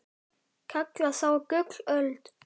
kalla þó gullöld